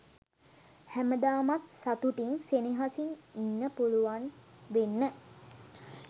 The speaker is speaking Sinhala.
හැමදාමත් සතුටින් සෙනෙහසින් ඉන්න පුළුවන් වෙන්න